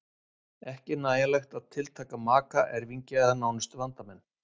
Ekki er nægjanlegt að tiltaka maka, erfingja eða nánustu vandamenn.